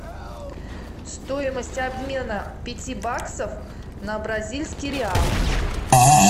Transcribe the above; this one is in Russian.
стоимость обмена пяти баксов на бразильский реал